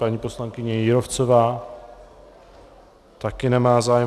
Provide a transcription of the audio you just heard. Paní poslankyně Jírovcová také nemá zájem.